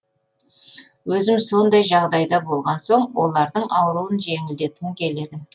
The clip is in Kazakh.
өзім сондай жағдайда болған соң олардың ауырын жеңілдеткім келеді